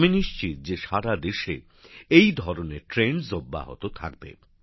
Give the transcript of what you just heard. আমি নিশ্চিত যে সারাদেশে এ ধরনের প্রবণতা বজায় থাকবে